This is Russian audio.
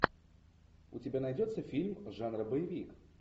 у тебя найдется фильм жанра боевик